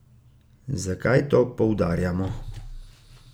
Zakaj to poudarjamo?